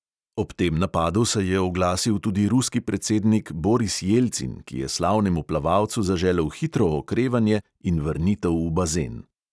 Ob tem napadu se je oglasil tudi ruski predsednik boris jelcin, ki je slavnemu plavalcu zaželel hitro okrevanje in vrnitev v bazen.